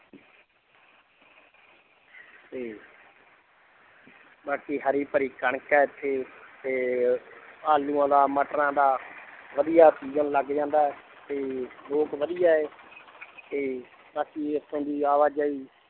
ਤੇ ਬਾਕੀ ਹਰੀ ਭਰੀ ਕਣਕ ਹੈ ਇੱਥੇ ਤੇ ਆਲੂਆਂ ਦਾ ਮਟਰਾਂ ਦਾ ਵਧੀਆ season ਲੱਗ ਜਾਂਦਾ ਹੈ ਤੇ ਲੋਕ ਵਧੀਆ ਹੈ ਤੇ ਬਾਕੀ ਇੱਥੇ ਦੀ ਆਵਾਜਾਈ